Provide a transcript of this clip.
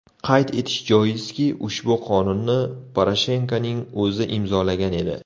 Qayd etish joizki, ushbu qonunni Poroshenkoning o‘zi imzolagan edi.